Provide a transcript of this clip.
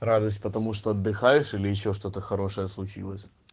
радость потому что отдыхаешь или ещё что-то хорошее случилось